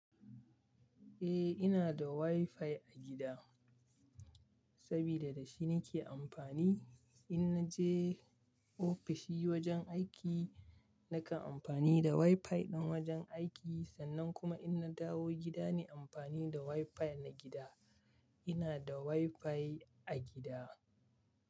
Eh, ina da WiFi a gida sabida da shi nake amfani in naje ofishi wajen aiki. Nakan amfani da WiFi ɗin wajen aiki sannan kuma in na dawo gida nai amfani da WiFi na gida. Ina da WiFi a gida.